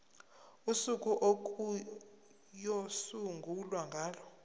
usuku okuyosungulwa ngalo